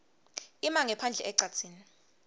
ima ngephandle ecadzini